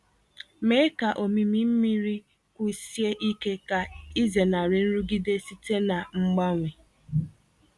Mee ka omimi mmiri kwụsie ike ka ịzenarị nrụgide site na mgbanwe.